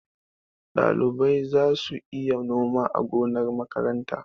Ɗalibai za su iya noma a gonar makaranta.